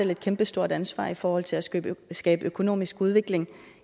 et kæmpestort ansvar i forhold til at skabe skabe økonomisk udvikling